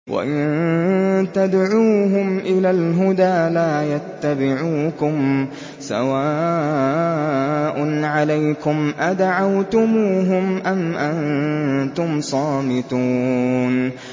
وَإِن تَدْعُوهُمْ إِلَى الْهُدَىٰ لَا يَتَّبِعُوكُمْ ۚ سَوَاءٌ عَلَيْكُمْ أَدَعَوْتُمُوهُمْ أَمْ أَنتُمْ صَامِتُونَ